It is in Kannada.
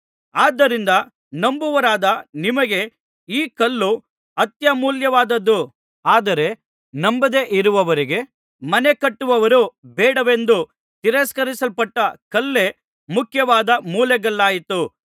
ಆದ್ದರಿಂದ ನಂಬುವವರಾದ ನಿಮಗೇ ಈ ಕಲ್ಲು ಅತ್ಯಮೂಲ್ಯವಾದುದು ಆದರೆ ನಂಬದೆಯಿರುವವರಿಗೆ ಮನೆಕಟ್ಟುವವರು ಬೇಡವೆಂದು ತಿರಸ್ಕರಿಸಲ್ಪಟ್ಟ ಕಲ್ಲೇ ಮುಖ್ಯವಾದ ಮೂಲೆಗಲ್ಲಾಯಿತು